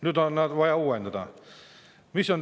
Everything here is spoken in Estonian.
Nüüd on vaja neid uuendada.